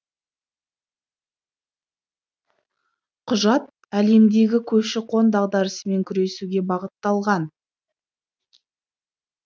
құжат әлемдегі көші қон дағдарысымен күресуге бағытталған